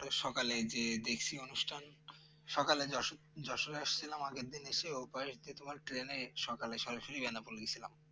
সকালে যে দেখছি অনুষ্ঠান সকালে যশোর যশোরে আসছিলাম আগের দিন এসে ওপারেতে তোমার Train এ সকালে সরাসরি বানাপোল গেছিলাম